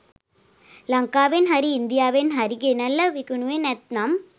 ලංකාවෙන් හරි ඉන්දියාවෙන් හරි ගෙනල්ල විකුණුවේ නැත්නම්.